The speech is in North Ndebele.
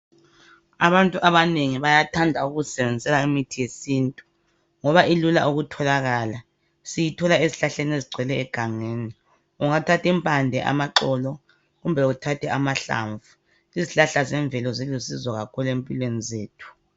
Abantu abanengi bayathanda ukuzisebenzisela imithi yesintu ngoba ilula ukutholakala siyithola ezihlahleni ezigcwele egangeni ungathatha impande amaxolo kumbe uthathe amahlavu izihlahla zemvelo zilusizo kakhulu empilweni zethu.